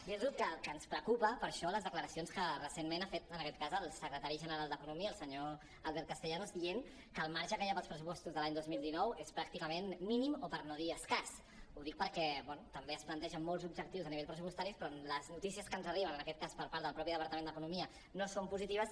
dir los que ens preocupen per això les declaracions que recentment ha fet en aquest cas el secretari general d’economia el senyor albert castellanos dient que el marge que hi ha per als pressupostos de l’any dos mil dinou és pràcticament mínim o per no dir escàs ho dic perquè bé també es plantegen molts objectius a nivell pressupostari però les notícies que ens arriben en aquest cas per part del mateix departament d’economia no són positives